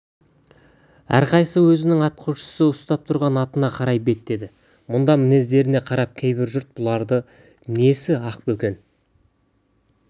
әрқайсысы өзінің атқосшысы ұстап тұрған атына қарай беттеді мұндай мінездеріне қарап кейбір жұрт бұлары несі ақбөкен